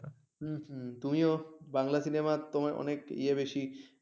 হম হম তুমিও বাংলা cinema তোমার অনেক ইয়া বেশি